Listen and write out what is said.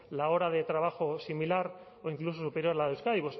la hora de trabajo similar o incluso superior a la de euskadi